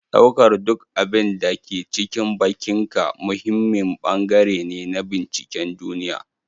Ɗaukar duk abin da ke cikin bakinka muhimmin bangare ne na binciken duniya.